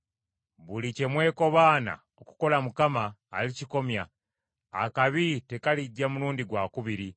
Buli kye mwekobaana okukola Mukama , alikikomya. Akabi tekalijja mulundi gwakubiri.